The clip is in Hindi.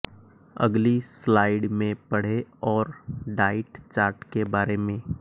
अगली स्लाइड में पढ़े और डाइट चार्ट के बारें में